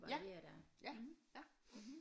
Ja ja ja